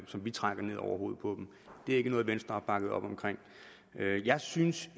som vi trækker ned over hovedet på dem det er ikke noget venstre har bakket op jeg synes